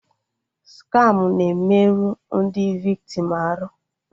Skamụ na-emerụ ndị viktim arụ